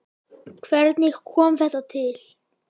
Hvernig kom þetta til?